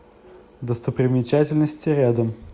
достопримечательности рядом